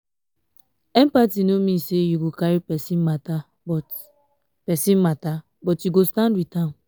empathy no mean sey you go carry pesin mata but pesin mata but you go stand wit am.